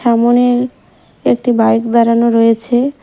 সামনে একটি বাইক দাঁড়ানো রয়েছে।